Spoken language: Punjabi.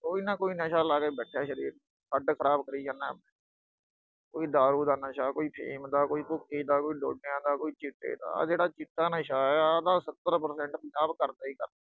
ਕੋਈ ਨਾ ਕੋਈ ਨਸ਼ਾ ਲਾ ਕੇ ਬੈਠਾ ਸਰੀਰ ਨੂੰ, ਹੱਡ ਖਰਾਬ ਕਰੀ ਜਾਂਦਾ ਆਪਣੇ, ਕੋਈ ਦਾਰੂ ਦਾ ਨਸ਼ਾ, ਕੋਈ ਅਫੀਮ ਦਾ, ਕੋਈ ਭੁੱਕੀ ਦਾ, ਕੋਈ ਡੋਡਿਆਂ ਦਾ, ਕੋਈ ਚਿੱਟੇ ਦਾ, ਆਹ ਜਿਹੜਾ ਚਿੱਟਾ ਨਸ਼ਾ, ਆਹ ਤਾਂ ਸੱਤਰ percent ਪੰਜਾਬ ਕਰਦਾ ਹੀ ਕਰਦਾ।